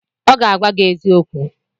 ọ ga-agwa gi eziokwu